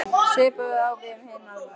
Svipað á við um hin Norðurlöndin.